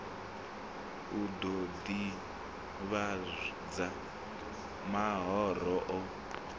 u ḓo ḓivhadza mahoro o